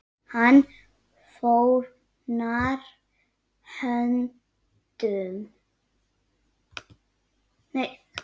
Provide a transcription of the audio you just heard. Hann fórnar höndum.